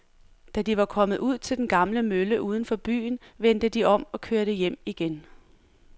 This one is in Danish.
Da de var kommet ud til den gamle mølle uden for byen, vendte de om og kørte hjem igen.